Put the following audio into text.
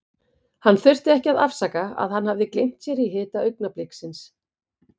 Hann þurfti ekki að afsaka að hann hafði gleymt sér í hita augnabliksins.